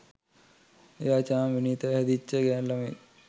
එයාචාම් විනීත හැදිච්ච ගෑණු ළමයෙක්